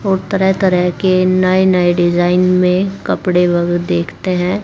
और तरह तरह के नए नए डिजाइन में कपड़े बहुत देखते हैं।